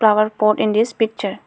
Flower pot in this picture.